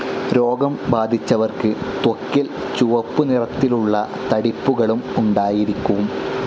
രോഗം ബാധിച്ചവർക്ക് ത്വക്കിൽ ചുവപ്പുനിറത്തിലുള്ള തടിപ്പുകളും ഉണ്ടായിരിക്കും.